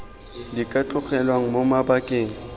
di ka tlogelwang mo mabakeng